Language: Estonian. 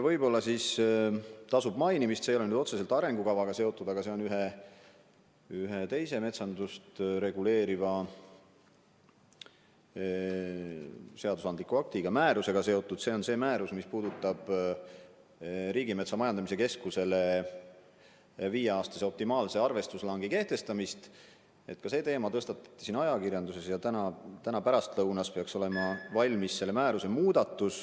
Võib-olla tasub mainida – see ei ole küll otseselt arengukavaga seotud, aga see on seotud ühe teise metsandust reguleeriva seadusandliku aktiga, määrusega, mis puudutab Riigimetsa Majandamise Keskusele viieks aastaks optimaalse arvestuslangi kehtestamist –, et ka see teema on ajakirjanduses tõstatatud ja täna pärastlõunast peaks olema valmis selle määruse muudatus.